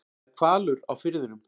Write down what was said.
Það er hvalur á firðinum.